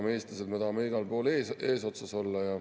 Me, eestlased, tahame igal pool eesotsas olla.